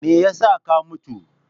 Me yasa ka mutu!